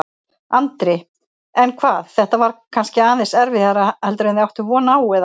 Andri: En hvað, þetta var kannski aðeins erfiðara heldur en þið áttuð von á, eða?